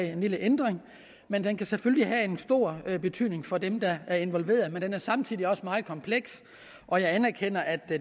en lille ændring men den kan selvfølgelig have en stor betydning for dem der er involveret den er samtidig også meget kompleks og jeg anerkender at